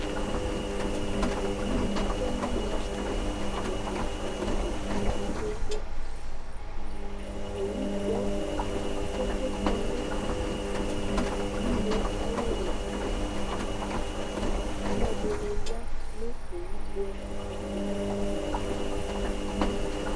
owunɩ tɛnu une ava tɩnetse nu tɩnetse kpekpekpe, uwugbɔ kpekpekpe kɔnu une ayu ɩlɩ, aluɛdɩnɩ ya nʊ owu gbɔ yɛ tu,